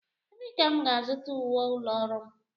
Ebee ka m ga-azụta uwe ụlọ ọrụ m?